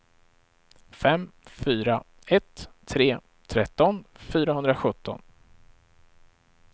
fem fyra ett tre tretton fyrahundrasjutton